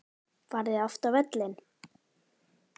Farið þið oft á völlinn?